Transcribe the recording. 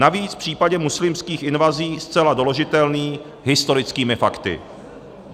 Navíc v případě muslimských invazí zcela doložitelný historickými fakty.